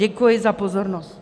Děkuji za pozornost.